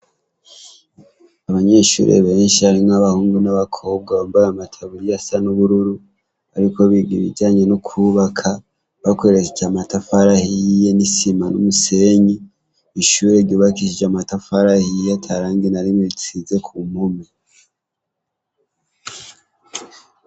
Abanyeshure benshi harimwo abahungu n'abakobwa bambaye n'amataburiya bariko bariga ibijanye no kwubaka bakoresheje amatafari ahiye n'isima n'umusenyi ishuri ryubakishijwe amatafari ahiye atarangi na rimwe risize kumpome .